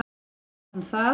utan það.